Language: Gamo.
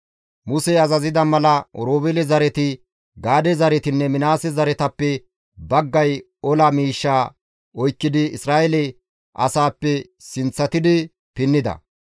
Musey azazida mala Oroobeele zareti, Gaade zaretinne Minaase zaretappe baggay ola miishshaa oykkidi Isra7eele asaappe sinththatidi pinnida.